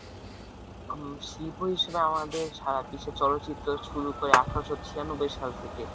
উম শিল্প হিসাবে আমাদের সারা বিশ্বে চলচিত্র শুরু করে আঠারোশো ছিয়ানব্বই সাল থেকে।